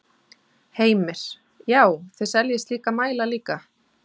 Heimir: Já, þið seljið slíka mæla líka?